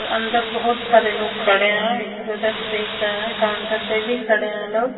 अंदर बहुत सारे लोग खड़े हैं इधर-उधर देख रहे हैं काउंटर पे भी खड़े हैं लोग।